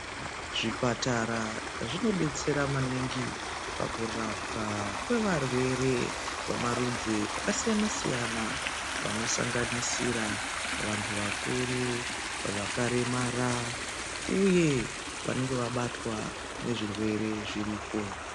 Zvipatara zvinobetsera maningi pakurapwa kwevarwere vamarudzi akasiyana-siyana. Anosanganisira vantu vakuru vakaremara, uye vanenge vabatwa ngezvirwere zviriko.